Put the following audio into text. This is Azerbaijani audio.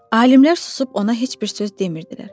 Alimlər susub ona heç bir söz demirdilər.